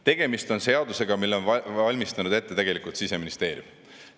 Tegemist on seadusega, mille on valmistanud ette Siseministeerium.